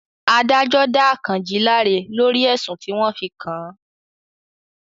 Adájọ́ dá Àkànjí láre lórí ẹ̀sùn tí wọ́n fi kàn án